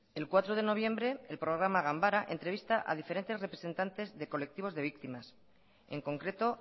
el cuatro de noviembre el programa ganbara entrevista a diferentes representantes de colectivos de víctimas en concreto